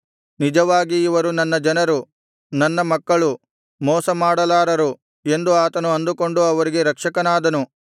ನಿಜವಾಗಿ ಇವರು ನನ್ನ ಜನರು ನನ್ನ ಮಕ್ಕಳು ಮೋಸ ಮಾಡಲಾರರು ಎಂದು ಆತನು ಅಂದುಕೊಂಡು ಅವರಿಗೆ ರಕ್ಷಕನಾದನು